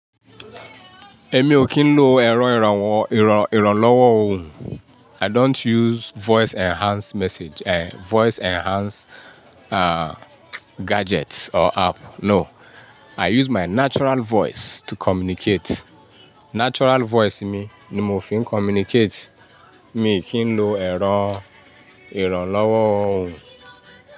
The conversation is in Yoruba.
Èmi ò kín ń lo ẹ̀rọ ìrànwọ́ ìrànlọ́wọ́ ohùn. I don't use voice enhance message, eh, voice enhance, ah, gadgets or app. No. I use my natural voice to communicate. Natural voice mi ni mo fi ń communicate. Mi ò kín ń lo ẹ̀rọ ìrànlọ́wọ́ ohùn.